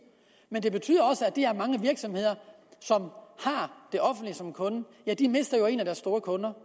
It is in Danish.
men det betyder også at de her mange virksomheder som har det offentlige som kunde mister en af deres store kunder